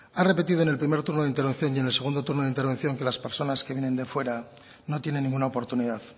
ha repetido en el primer turno de intervención y en el segundo turno de intervención que las personas que vienen de fuera no tienen ninguna oportunidad